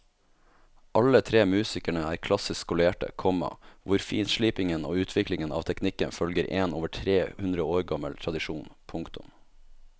Alle tre musikerne er klassisk skolerte, komma hvor finslipingen og utviklingen av teknikken følger en over tre hundre år gammel tradisjon. punktum